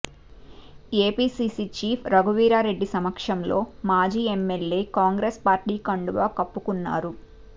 APCC chief Raghuveera Reddy సమక్షంలో మాజీ MLA Congress party కండువా కప్పుకున్నారు